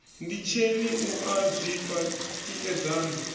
nditsheni u a zwifha tikedzani